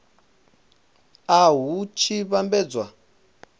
a nha hu tshi vhambedzwa